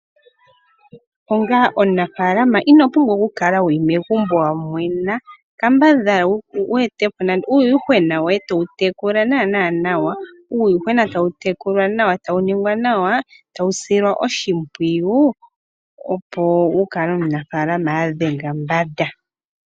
Onga omunafalama ino pumbwa okukala wuli megumbo wamwena kambadhala wu etepo nande uuyuhwena woye towu tekula naana nawawa , tawu ningwa nawa , taeu silwa oshimpiyu opo wukale omu nafaalama adhenga mbanda .